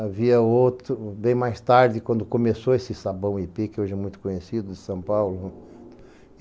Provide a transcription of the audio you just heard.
Havia outro, bem mais tarde, quando começou esse Sabão Ipê, que hoje é muito conhecido em São Paulo.